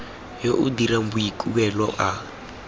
yo o dirang boikuelo a